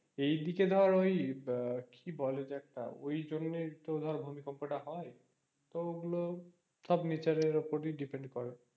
এই দিকে ধর ওই আহ কি বলে যে একটা ওই জন্যেই তো ধর ভূমিকম্পটা হয় তো ওগুলো সব nature রের ওপর ই depend করে,